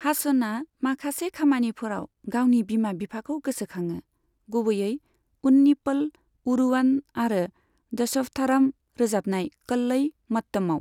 हासनआ माखासे खामानिफोराव गावनि बिमा बिफाखौ गोसोखाङो, गुबुयै उन्नीप'ल अ'रूवन आरो दशवथाराम रोजाबनाय कल्लई मट्टमआव।